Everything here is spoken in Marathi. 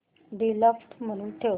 डिफॉल्ट म्हणून ठेव